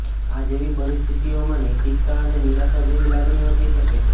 આ જેવી પરિસ્થિતિઓમાં નૈતિકતા અને નિરાશા જેવા લાગણીઓ થઈ શકે છે